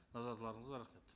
назарларыңызға рахмет